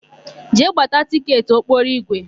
Jee gbata tịketị ụgbọokporoigwe!